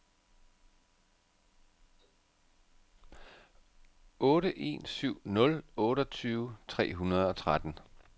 otte en syv nul otteogtyve tre hundrede og tretten